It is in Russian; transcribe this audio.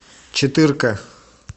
четырка